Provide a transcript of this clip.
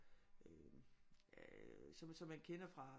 Øh som som man kender fra